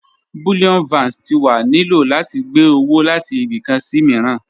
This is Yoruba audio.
Bullion Vans ti wa ni lo lati gbe owo lati ibi kan si miiran.